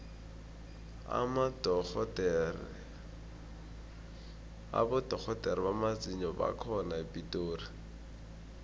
abodorhodere bamazinyo bakhona epitori